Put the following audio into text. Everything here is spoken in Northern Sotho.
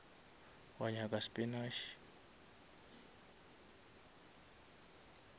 wa nyaka spinash